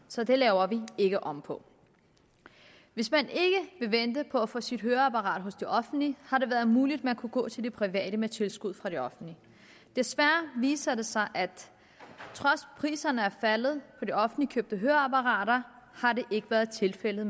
så det laver vi ikke om på hvis man ikke vil vente på at få sit høreapparat hos det offentlige har det været muligt at man kunne gå til det private med tilskud fra det offentlige desværre viser det sig at at priserne er faldet på de offentligt købte høreapparater har det ikke været tilfældet